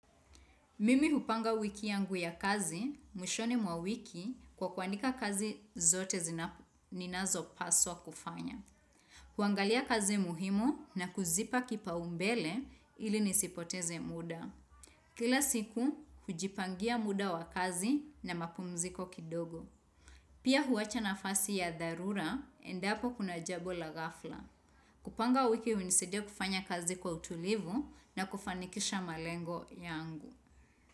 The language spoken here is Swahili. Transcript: Mimi hupanga wiki yangu ya kazi, mwishoni mwa wiki kwa kuandika kazi zote zinapo ninazopaswa kufanya. Huangalia kazi muhimu na kuzipa kipaombele ili nisipoteze muda. Kila siku, hujipangia muda wa kazi na mapumziko kidogo. Pia huwacha nafasi ya dharura, endapo kuna jambo la ghafla. Kupanga wiki hunisaidia kufanya kazi kwa utulivu na kufanikisha malengo yangu.